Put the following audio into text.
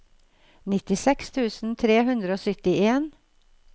nittiseks tusen tre hundre og syttien